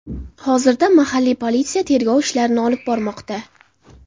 Hozirda mahalliy politsiya tergov ishlarini olib bormoqda.